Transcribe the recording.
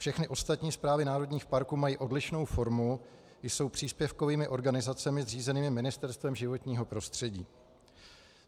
Všechny ostatní správy národních parků mají odlišnou formu, jsou příspěvkovými organizacemi zřízenými Ministerstvem životního prostředí.